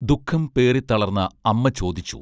ദുഃഖം പേറിത്തളർന്ന അമ്മ ചോദിച്ചു